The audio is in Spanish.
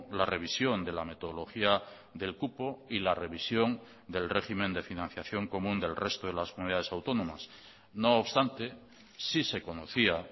la revisión de la metodología del cupo y la revisión del régimen de financiación común del resto de las comunidades autónomas no obstante sí se conocía